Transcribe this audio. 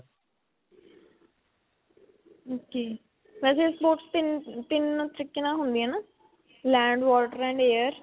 ok. ਵੈਸੇ sports ਤਿੰਨ, ਤਿੰਨ ਤਰੀਕੇ ਨਾਲ ਹੁੰਦੀਆਂ ਹੈ ਨਾ? land, water and air.